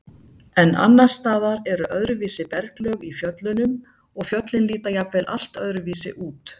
En annars staðar eru öðruvísi berglög í fjöllunum og fjöllin líta jafnvel allt öðruvísi út.